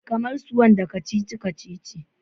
Kamar su wanda kacici-kacici?